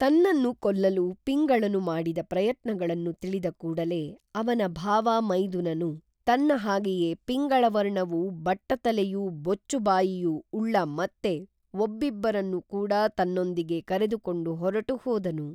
ತನ್ನನ್ನು ಕೊಲ್ಲಲು ಪಿಂಗಳನು ಮಾಡಿದ ಪ್ರಯತ್ನಗಳನ್ನು ತಿಳಿದ ಕೂಡಲೇ ಅವನ ಭಾವ ಮೈದುನನು ತನ್ನ ಹಾಗೇಯೇ ಪಿಂಗಳವರ್ಣವೂ ಬಟ್ಟತಲೆಯೂ ಬೊಚ್ಚು ಬಾಯಿಯೂ ಉಳ್ಳ ಮತ್ತೆ ಒಬ್ಬಿಬ್ಬರನ್ನು ಕೂಡಾ ತನ್ನೊಂದಿಗೆ ಕರೆದುಕೊಂಡು ಹೊರಟು ಹೋದನು